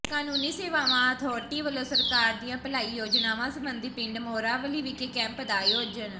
ਕਾਨੂੰਨੀ ਸੇਵਾਵਾਂ ਅਥਾਰਟੀ ਵੱਲੋਂ ਸਰਕਾਰ ਦੀਆਂ ਭਲਾਈ ਯੋਜਨਾਵਾਂ ਸਬੰਧੀ ਪਿੰਡ ਮੌਰਾਂਵਾਲੀ ਵਿਖੇ ਕੈਂਪ ਦਾ ਆਯੋਜਨ